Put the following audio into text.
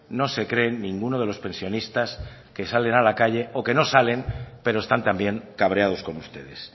no se creen ninguno de los pensionistas que salen a la calle o que no salen pero están también cabreados con ustedes